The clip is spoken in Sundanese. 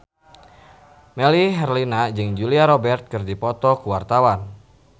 Melly Herlina jeung Julia Robert keur dipoto ku wartawan